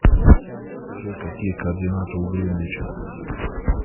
джой какие координаты у гринвича